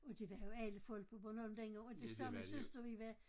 Og det var jo alle folk på Bornholm dengang og det sagde min søster vi var